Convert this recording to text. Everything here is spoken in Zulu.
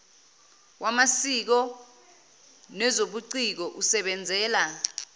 wamasiko nezobuciko usebenzela